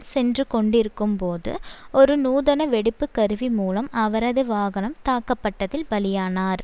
சென்று கொண்டிருக்கும்போது ஒரு நூதன வெடிப்பு கருவி மூலம் அவரது வாகனம் தாக்கப்பட்டதில் பலியானார்